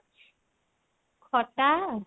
ଖଟା?